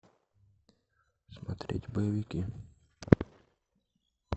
смотреть боевики